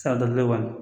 San dɔ la